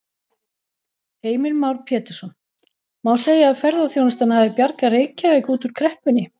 Heimir Már Pétursson: Má segja að ferðaþjónustan hafi bjargað Reykjavík út úr kreppunni?